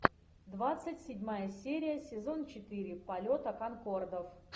двадцать седьмая серия сезон четыре полета конкордов